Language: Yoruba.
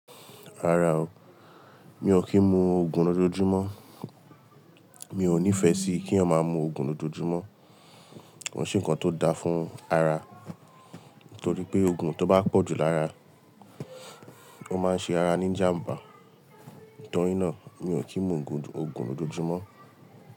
Rárá o, mi ò kí ń mu ògùn lójoojúmọ́. Mi ò nífẹ́ sí kí eeyan máa mu ògùn lójoojúmọ́. Ko ṣe nnkan tó da fún ara, torí pé ògùn tó bá pọ̀ jù lára, ó máa ń ṣe ara ní jàmbá. Nítorínà, mi ò kí ń mu ògùn lójoojúmọ́.